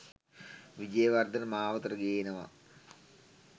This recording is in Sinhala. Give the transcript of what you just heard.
විජේවර්ධන මාවතට ගේනවා